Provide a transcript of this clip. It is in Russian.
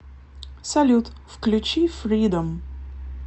салют включи фридом